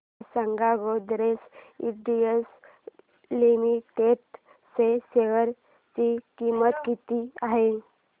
मला सांगा Godrej industries limited च्या शेअर ची किंमत किती आहे